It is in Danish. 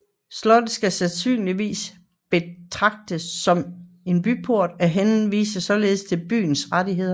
Slottet skal sandsynligvis betragtes som en byport og henviser således til byens rettigheder